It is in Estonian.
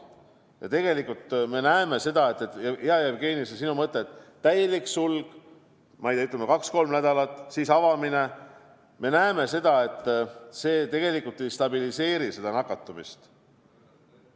Ja tegelikult me näeme seda, hea Jevgeni, et see sinu mõte, teha täielik sulgemine, ütleme, paar-kolm nädalat, ja siis avamine, tegelikult ei stabiliseeri nakatumist.